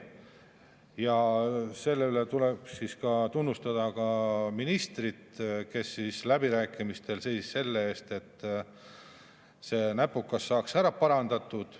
Ja selle eest tuleb tunnustada ka ministrit, kes läbirääkimistel seisis selle eest, et see näpukas saaks ära parandatud.